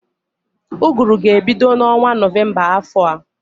Ụgụrụ ga-ebido n'ọnwa Nọvemba afọ a